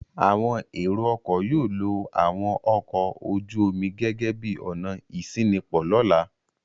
Àwọn ẹ̀rọ-ọkọ̀ yóò lo àwọn ọkọ̀ ojú-omi gẹ́gẹ́ bí ọ̀nà ìṣínípò lọ́la.